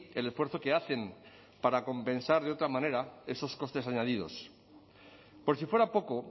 el esfuerzo que hacen para compensar de otra manera esos costes añadidos por si fuera poco